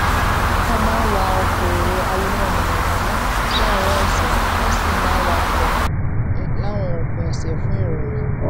wón máa ń wọ ọkọ èrò alonáamọnàmọná láàárín òsè wón sì máa ń wakò láwọn òpin òsè fun irorun